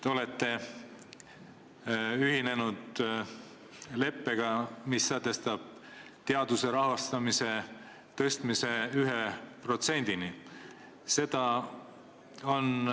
Te olete ühinenud leppega, mis sätestab teaduse rahastamise tõstmise 1%-ni SKP-st.